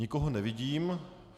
Nikoho nevidím.